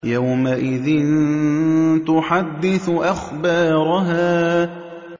يَوْمَئِذٍ تُحَدِّثُ أَخْبَارَهَا